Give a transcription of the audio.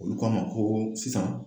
Olu k'a ma ko sisan